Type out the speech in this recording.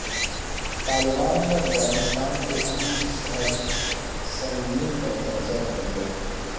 طالبان نے افغانستان کے اہم شہرسنگین پر قبضہ کرلیا